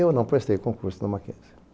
Eu não prestei concurso na Mackenzie.